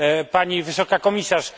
Pani Wysoka Komisarz!